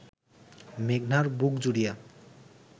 মেঘনার বুক জুড়িয়া